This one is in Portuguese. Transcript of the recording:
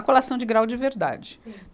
A colação de grau de verdade. Sim.